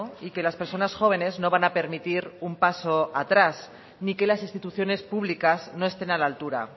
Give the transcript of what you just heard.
y que las personas jóvenes no van a permitir un paso atrás ni que las instituciones públicas no estén a la altura